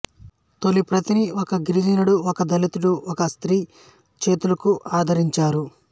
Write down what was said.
తొలిప్రతిని ఒక గిరిజనుడు ఒక దళితుడు ఒక స్త్రీ చేతులకు అందించారు